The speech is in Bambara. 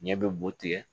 Ɲɛ bɛ boo tigɛ